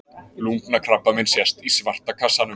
lungnakrabbamein sést í svarta kassanum